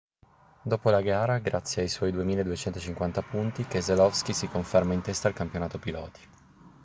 dopo la gara grazie ai suoi 2.250 punti keselowski si conferma in testa al campionato piloti